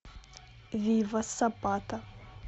вива сапата